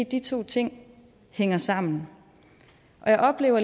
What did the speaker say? de to ting hænger sammen og jeg oplever